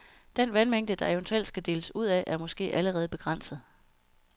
Den vandmængde, der eventuelt skal deles ud af, er måske allerede begrænset.